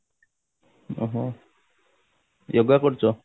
ଉଁ ହୁଁ yoga କରୁଛ